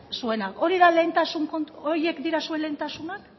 zuena horiek dira zuen lehentasunak